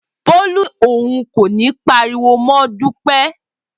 Bolu ni oun ko ni pariwo mọ Dupe.